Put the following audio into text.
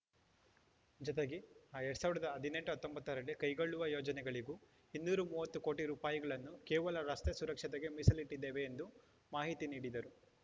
ಜತೆಗೆ ಅ ಎರಡ್ ಸಾವಿರದ ಹದಿನೆಂಟು ಹತ್ತೊಂಬತ್ತರಲ್ಲಿ ಕೈಗೊಳ್ಳುವ ಯೋಜನೆಗಳಿಗೂ ಇನ್ನೂರ ಮೂವತ್ತು ಕೋಟಿ ರೂಪಾಯಿಗಳನ್ನು ಕೇವಲ ರಸ್ತೆ ಸುರಕ್ಷತೆಗೆ ಮೀಸಲಿಟ್ಟಿದ್ದೇವೆ ಎಂದು ಮಾಹಿತಿ ನೀಡಿದರು